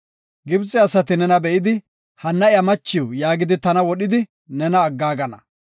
Gibxe asati nena be7idi, ‘Hanna iya machiw’ yaagidi tana wodhidi nena aggaagana.